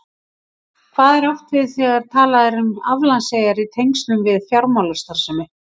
Hvað er átt við þegar talað er um aflandseyjar í tengslum við fjármálastarfsemi?